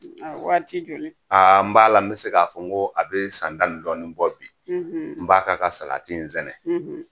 Waati joli aa n b'a la n bɛ se k'a fɔ ko a bɛ san tan ni dɔɔnin bɔ bi n b'a ka ka salati in sɛnɛ